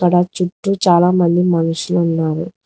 దా చుట్టూ చాలా మంది మనుషులు ఉన్నారు.